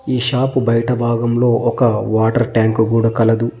ఈ షాపు బయట భాగంలో ఒక వాటర్ ట్యాంక్ కూడా కలదు.